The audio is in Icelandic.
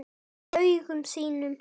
Í augum þínum.